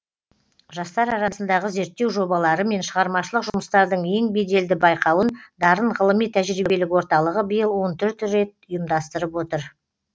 жастар арасындағы зерттеу жобалары мен шығармашылық жұмыстардың ең беделді байқауын дарын ғылыми тәжірибелік орталығы биыл он төрт рет ұйымдастырып отыр